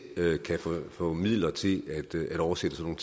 kan få midler til at oversætte sådan